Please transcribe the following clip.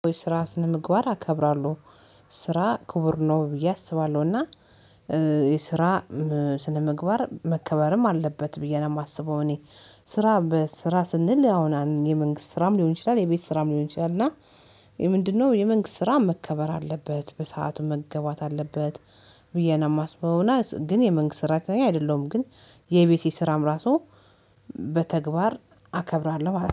ወይ ስራ ስነምግባር አከብራለሁ። ስራ ክቡር ነው ብዬ አስባለሁ እና የስራ ስነምግባር መከበርም አለበት ብዬ ነው የማስበው። እኔ ስራ ስራ ስንል አሁን የመንግስት ስራም ሊሆን ይችላል የቤት ስራም ሊሆን ይችላል እና። የምንድነው የመንግስት ስራ መከበር አለበት በሰአት መገባት አለበት ብዬ ነው የማስበው። እና ግን የመንግስት ስራተኛ አይደለሁም ግን የቤቴ ስራም ራሱ በተግባር አከብራለሁ